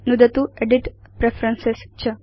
नुदतु edit preferences